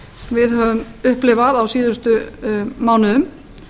við höfum upplifað á síðustu mánuðum